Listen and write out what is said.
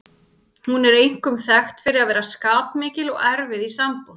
Hún er einkum þekkt fyrir að vera skapmikil og erfið í sambúð.